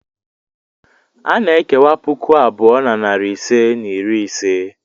A na-ekewa puku abụọ na narị ise na iri ise.